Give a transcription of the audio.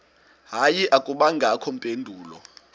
hayi akubangakho mpendulo